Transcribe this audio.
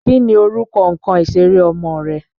Kí ni orúkọ nkan ìṣéré ọmọ rẹ?